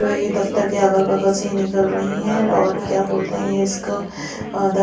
जो ये दफ्तर के अगल बगल से ही निकल रही है और क्या बोलते हैं इसको अ--